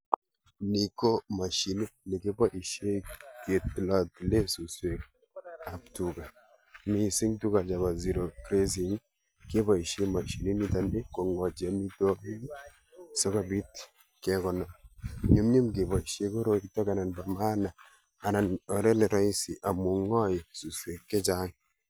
Ni ko mashinit ne kiboisie ketilatile suswekab tuga. Missing tuga chebo zero grazing keboisie mashinit nitoni kongotiem sikobit kekonor. Nyumnyum keboisie koroi anan bo maana, anan oret ne rahisi amu ng'ae suswek chechang'